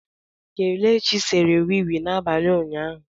Kelechi sere wii wii n'abalị ụnyaahụ.